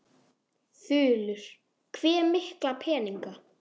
Þulur: Hve mikla peninga?